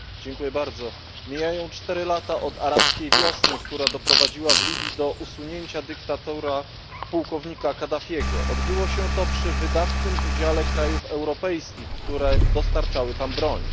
Panie Przewodniczący! Mijają cztery lata od Arabskiej Wiosny, która doprowadziła w Libii do usunięcia dyktatora pułkownika Kadafiego. Odbyło się to przy wydatnym udziale krajów europejskich, które dostarczały tam broń.